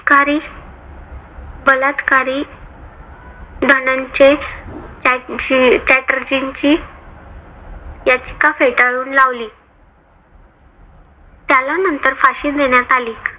कारी बलात्कारी धनंजय चटर्जींनी याचिका फेटाळून लावली. त्याला नंतर फाशी देण्यात आली.